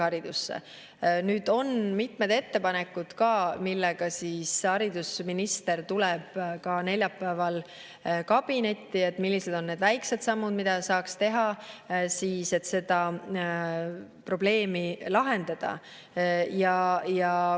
Haridusminister tuleb neljapäeval mitmete ettepanekutega kabinetti, et, millised on need väikesed sammud, mida saaks teha, et seda probleemi lahendada.